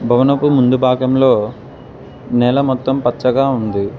భవనపు ముందు భాగంలో నేల మొత్తం పచ్చగా ఉంది.